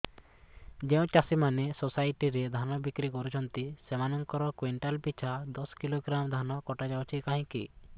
ଯେଉଁ ଚାଷୀ ମାନେ ସୋସାଇଟି ରେ ଧାନ ବିକ୍ରି କରୁଛନ୍ତି ସେମାନଙ୍କର କୁଇଣ୍ଟାଲ ପିଛା ଦଶ କିଲୋଗ୍ରାମ ଧାନ କଟା ଯାଉଛି କାହିଁକି